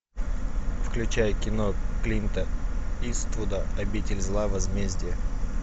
включай кино клинта иствуда обитель зла возмездие